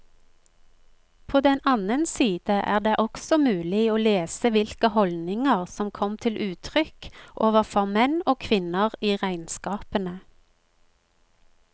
På den annen side er det også mulig å lese hvilke holdninger som kom til uttrykk overfor menn og kvinner i regnskapene.